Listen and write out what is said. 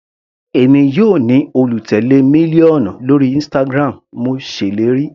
Èmi yóò ní olùtèlé mílíọ̀nù lórí Instagram, mo ṣèlérí.